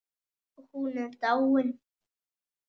Hún er dáin.